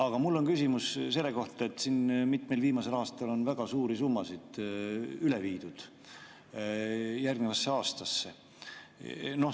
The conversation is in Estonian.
Aga mul on küsimus selle kohta, et mitmel viimasel aastal on väga suuri summasid üle viidud järgnevasse aastasse.